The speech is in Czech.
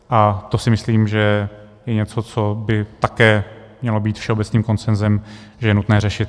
A to si myslím, že je něco, co by také mělo být všeobecným konsenzem, že je nutné řešit.